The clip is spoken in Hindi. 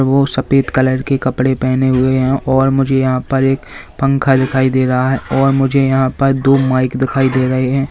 वो सफेद कलर के कपड़े पहने हुए हैं और मुझे यहां पर एक पंखा दिखाई दे रहा है और मुझे यहां पर दो माइक दिखाई दे रहे हैं।